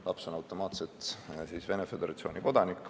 Laps on siis automaatselt Venemaa Föderatsiooni kodanik.